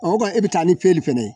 o kɔni e bɛ taa ni peli fɛnɛ ye